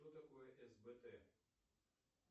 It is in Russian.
что такое сбт